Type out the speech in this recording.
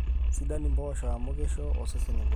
sidan impoosho ama keisho osesen eng'olon